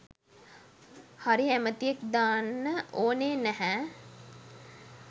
හරි ඇමතියෙක් දාන්න ඕනේ නැහැ.